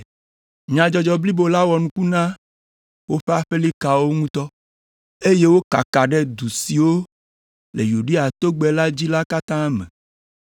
Nyadzɔdzɔ blibo la wɔ nuku na woƒe aƒelikawo ŋutɔ, eye wòkaka ɖe du siwo le Yudea togbɛ la dzi la katã me.